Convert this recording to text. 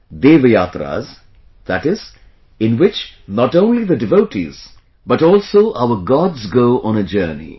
Dev Yatras... that is, in which not only the devotees but also our Gods go on a journey